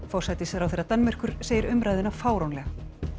forsætisráðherra Danmerkur segir umræðuna fáránlega